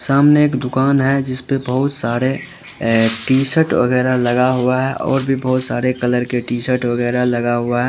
सामने एक दुकान है जिस पे बहुत सारे टीशर्ट वगैरा लगा हुआ है और भी बहुत सारे कलर के टीशर्ट वगैरा लगा हुआ है।